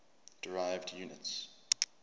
derived units